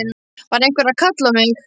Var einhver að kalla á mig?